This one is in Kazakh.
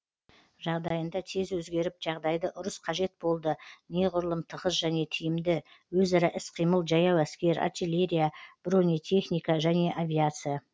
жағдайында тез өзгеріп жағдайды ұрыс қажет болды неғұрлым тығыз және тиімді өзара іс қимыл жаяу әскер артиллерия бронетехники және авиация